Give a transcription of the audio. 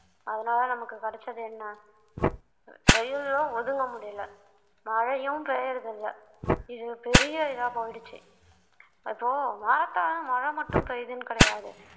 அதனால நமக்கு கிடைச்சது என்ன வெயிலும் ஒதுங்க முடியலை மழையும் பெய்யறதில்லை இது பெரிய இதா போயிடுச்சு இப்போ மரத்தால மழை மட்டும் பெய்யுதுன்னு கிடையாது